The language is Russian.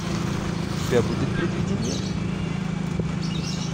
у тебя будет предвидение